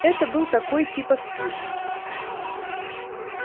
это был такой типа спирт